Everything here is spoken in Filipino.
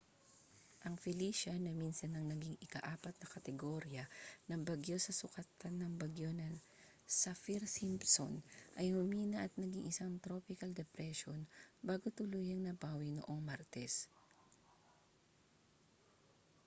ang felicia na minsan nang naging ika-4 na kategorya ng bagyo sa sukatan ng bagyo na saffir-simpson ay humina at naging isang tropical depression bago tuluyang napawi noong martes